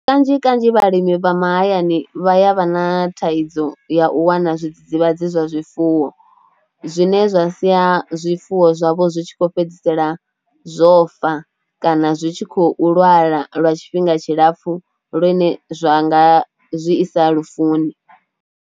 Kanzhi kanzhi vhalimi vha mahayani vha ya vha na thaidzo ya u wana zwidzidzivhadzi zwa zwifuwo zwine zwa sia zwifuwo zwavho zwi tshi khou fhedzisela zwo fa kana zwi tshi khou lwala lwa tshifhinga tshilapfhu lune zwa nga zwi isa lufuni.